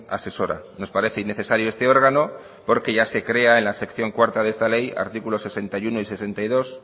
asesora nos parece innecesario este órgano porque ya se crea en la sección cuarta de esta ley artículo sesenta y uno y sesenta y dos